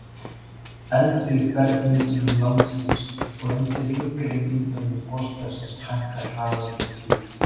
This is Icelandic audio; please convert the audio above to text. eldri bergmyndunum landsins og undir yngri myndunum gosbeltisins hækkar hraðinn upp í